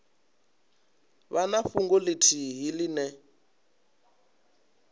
vha na fhungo ithihi ine